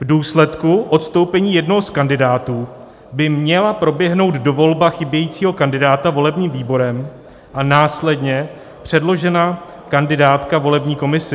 V důsledku odstoupení jednoho z kandidátů by měla proběhnout dovolba chybějícího kandidáta volebním výborem a následně předložena kandidátka volební komisi.